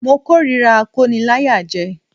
Mo k'órira akóniláyàjẹ